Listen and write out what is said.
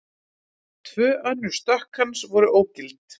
Tvö önnur stökk hans voru ógild